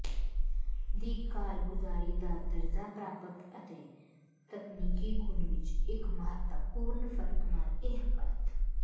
ਦੀ ਕਾਰਗੁਜ਼ਾਰੀ ਦਾ ਦਰਜਾ ਪ੍ਰਾਪਤ ਅਤੇ ਤਕਨੀਕੀ ਗੁਣ ਵਿੱਚ ਇੱਕ ਮਹੱਤਵਪੂਰਨ ਫਰਕ ਨਾਲ ਇਹ ਪਰਤ